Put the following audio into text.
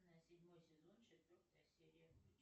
седьмой сезон четвертая серия включи